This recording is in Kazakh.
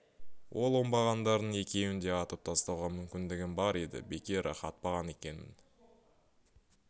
ол оңбағандардың екеуін де атып тастауға мүмкіндігім бар еді бекер-ақ атпаған екенмін